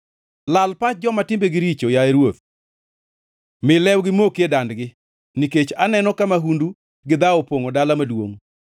Lal pach joma timbegi richo, yaye Ruoth, mi lewgi moki e dandgi, nikech aneno ka mahundu gi dhawo opongʼo dala maduongʼ.